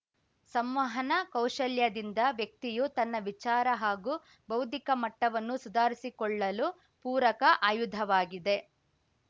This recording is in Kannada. ಸಂವಹನ ಕೌಶಲ್ಯದಿಂದ ವ್ಯಕ್ತಿಯು ತನ್ನ ವಿಚಾರ ಹಾಗೂ ಬೌದ್ದಿಕ ಮಟ್ಟವನ್ನು ಸುಧಾರಿಸಿಕೊಳ್ಳಲು ಪೂರಕ ಆಯುಧವಾಗಿದೆ